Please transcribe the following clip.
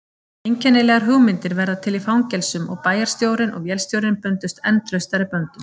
Einkennilegar hugmyndir verða til í fangelsum og bæjarstjórinn og vélstjórinn bundust enn traustari böndum.